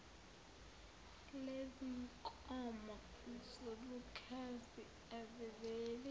lezinkomo zobukhazi aziveli